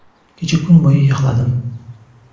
Kecha kun bo‘yi yig‘ladim.